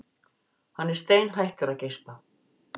Hann er steinhættur að geispa.